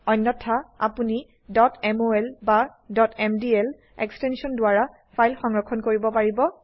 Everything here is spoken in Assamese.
অন্যথা আপোনি mol বা mdl এক্সটেনশন দ্বাৰা ফাইল সংৰক্ষণ কৰিব পাৰিব